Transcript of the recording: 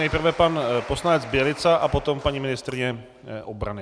Nejprve pan poslanec Bělica a potom paní ministryně obrany.